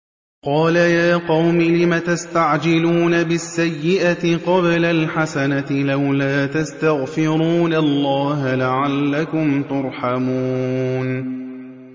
قَالَ يَا قَوْمِ لِمَ تَسْتَعْجِلُونَ بِالسَّيِّئَةِ قَبْلَ الْحَسَنَةِ ۖ لَوْلَا تَسْتَغْفِرُونَ اللَّهَ لَعَلَّكُمْ تُرْحَمُونَ